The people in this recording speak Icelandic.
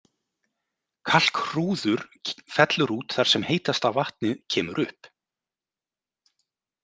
Kalkhrúður fellur út þar sem heitasta vatnið kemur upp.